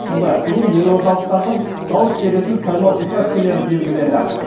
сондай бүгін елордалықтардың дауыс беретін сайлау учаскелері белгіленді